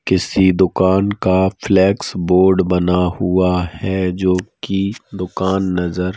किसी दुकान का फ्लेक्स बोर्ड बना हुआ है जोकि दुकान नजर--